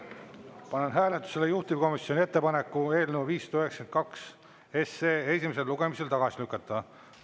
Panen hääletusele juhtivkomisjoni ettepaneku eelnõu 592 esimesel lugemisel tagasi lükata.